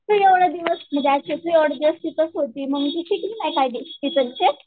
एवढी दिवस दिवस तिकडेच होती ना शिकली नाही का हे